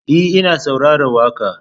E, ina saurarar waƙa.